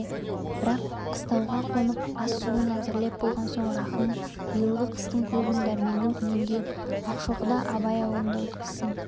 бірақ қыстауға қонып ас-суын әзірлеп болған соң рахым биылғы қыстың көбін дәрменнің үйінде ақшоқыда абай аулында өткізсін